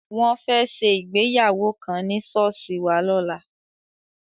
Wọ́n fẹ́ ṣe ìgbéyàwó kan ní ṣọ́ọ̀ṣì wa lọ́la.